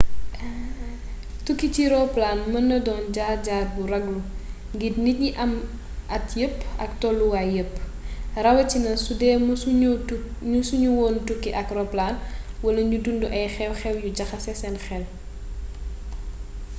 tukki ci roplaan mën naa doon jaar-jaar bu ragallu ngir nit yi am at yépp ak tooluwaay yépp rawatina sudee mësu ñu woon a tukki ak ropkaan wala ñu dundu ay xew-xew yu jaxase seen xel